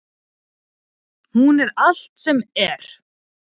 Hún er allt sem er.